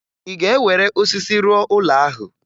Ị ga-ewere osisi rụọ ụlọ ahụ?